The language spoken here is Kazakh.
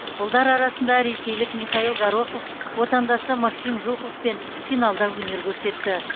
ұлдар арасында ресейлік михаил горохов отандасы максим жуковпен финалда өнер көрсетті